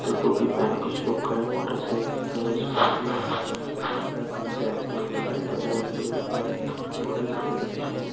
उधर टोपी पहना कुच्छ लोग खड़े है मोटर साईकल खड़ी है स्कूटी है एक तरफ कुछ ब्लॅक है व्हाइट है बोर्ड है जो कि नीले कलर का बोर्ड है सफ़ेद अक्षरो में--